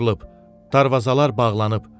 Darvazalar bağlanıb.